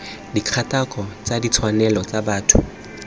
dikgatako tsa ditshwanelo tsa botho